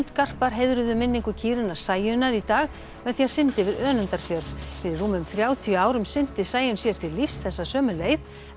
sundgarpar heiðruðu minningu kýrinnar Sæunnar í dag með því að synda yfir Önundarfjörð fyrir rúmum þrjátíu árum synti Sæunn sér til lífs þessa sömu leið